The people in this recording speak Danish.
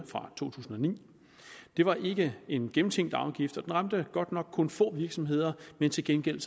fra to tusind og ni det var ikke en gennemtænkt afgift og den ramte godt nok kun få virksomheder men til gengæld